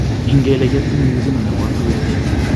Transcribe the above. Ingeile kiotinye nyigisindo nebo 120.